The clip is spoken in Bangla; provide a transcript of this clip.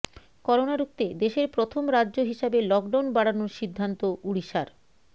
করোনা রুখতে দেশের প্রথম রাজ্য হিসাবে লকডাউন বাড়ানোর সিদ্ধান্ত ওড়িশার